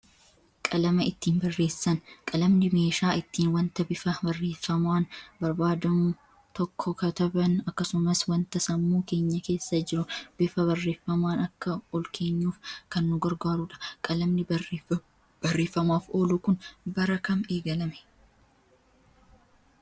Qalama ittiin barreessan. Qalamni meeshaa ittiin wanta bifa barreeffamaan barbaadamu tokko kataban akkasumas wanta sammuu keenya keessa jiru bifa barreeffamaan akka olkeenyuuf kan nu gargaarudha. Qalamni barreeffamaaf oolu kun bara kam eegalame?